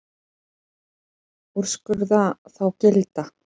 Úrskurða þá gilda.